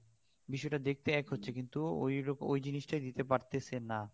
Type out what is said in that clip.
বিষয় টা দেখতে এক হচ্ছে কিন্তু ওই ওই জিনিস টা দিতে পারতেছে না